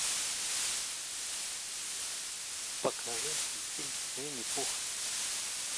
покажи мультфильм винни пух